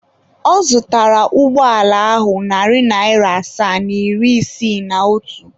Ọ zụtara ụgbọala ahụ narị naira asaa na iri isii na otu.